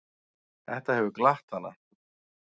Þetta hefur glatt hana.